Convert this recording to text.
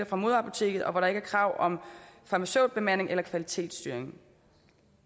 fra moderapoteket og hvor der ikke er krav om farmaceutbemanding eller kvalitetsstyring